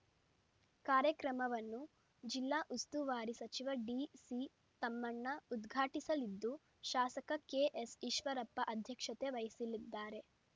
ಕಾರ್ಯಕ್ರಮವನ್ನು ಜಿಲ್ಲಾ ಉಸ್ತುವಾರಿ ಸಚಿವ ಡಿಸಿ ತಮ್ಮಣ್ಣ ಉದ್ಘಾಟಿಸಲಿದ್ದು ಶಾಸಕ ಕೆಎಸ್‌ ಈಶ್ವರಪ್ಪ ಅಧ್ಯಕ್ಷತೆ ವಹಿಸಲಿದ್ದಾರೆ